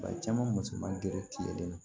Bari caman musoman gɛrɛ tigɛlen don